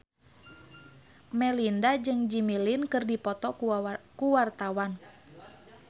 Melinda jeung Jimmy Lin keur dipoto ku wartawan